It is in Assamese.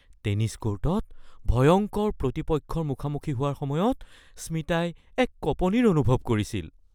টেনিছ কৰ্টত ভয়ংকৰ প্ৰতিপক্ষৰ মুখামুখি হোৱাৰ সময়ত স্মিতাই এক কঁপনিৰ অনুভৱ কৰিছিল